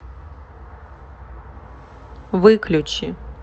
выключи